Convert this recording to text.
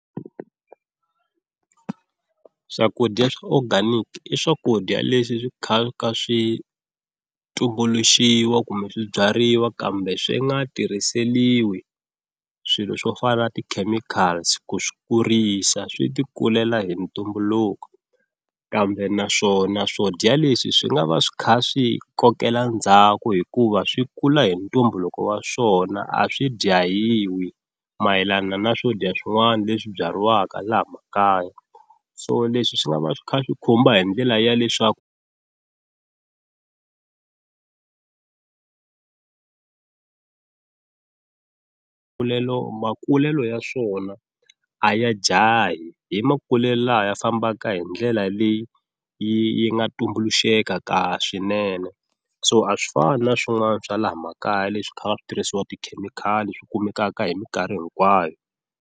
Swakudya swa organic i swakudya leswi swi swi tumbuluxiwa kumbe swi byariwa kambe swi nga tirhiseliwi swilo swo fana na ti-chemicals ku swi kurisa swi ti kulela hi ntumbuluko, kambe naswona swo dya leswi swi nga va swi kha swi kokela ndzhaku hikuva swi kula hi ntumbuluko wa swona a swi dyahiwi mayelana na swo dya swin'wana leswi byariwaka laha makaya, so leswi swi nga va swi kha swi khumba hi ndlela ya leswaku makulelo ya swona a ya jahi hi makulelo laha ya fambaka hi ndlela leyi yi nga tumbuluxeka ka swinene, so a swi fani na swin'wana swa laha makaya leswi kha va switirhisiwa tikhemikhali swi kumekaka hi minkarhi hinkwayo.